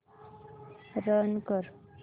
run कर